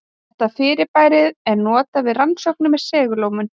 Þetta fyrirbæri er notað við rannsóknir með segulómun.